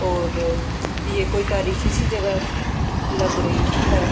اور یہ کوئی تاریخی سی جگہ لگ رہی ہے۔